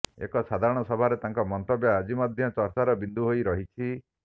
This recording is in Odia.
ଏକ ସାଧାରଣ ସଭାରେ ତାଙ୍କ ମନ୍ତବ୍ୟ ଆଜି ମଧ୍ୟ ଚର୍ଚ୍ଚାର ବିନ୍ଦୁ ହୋଇ ରହିଛି